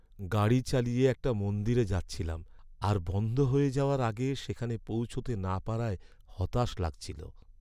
গাড়ি চালিয়ে একটা মন্দিরে যাচ্ছিলাম আর বন্ধ হয়ে যাওয়ার আগে সেখানে পৌঁছতে না পারায় হতাশ লাগছিল।